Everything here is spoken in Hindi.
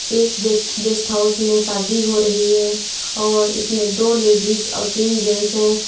एक गेट गेस्ट हाउस में शादी हो रही है और इसमें दो लेडिस और तीन जेंट्स हैं।